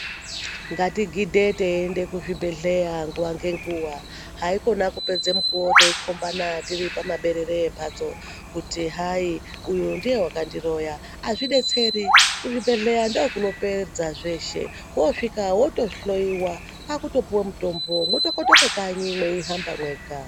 Ngatigidhe teiende kuzvibhedhleya nguwa ngenguwa haikona kupedze mukuwo teikhombana tiri pamaberere embatso kuti hai uyu ndiye wakandiroya azvidetseri kuzvibhedhleya ndokunopedza zvese woosvika wotohloyiwa kwakutopuwa mutombo wotokotoka kanyi mweihamba mwega.